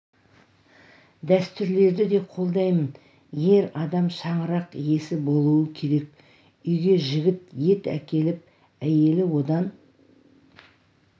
дәстүрлерді де қолдаймын ер адам шаңырақ иесі болуы керек үйге жігіт ет әкеліп әйелі одан